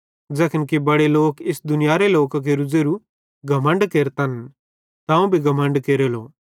ज़ैखन कि बड़े लोक इस दुनियारे लोकां केरू ज़ेरू घमण्ड केरतन त अवं भी घमण्ड केरेलो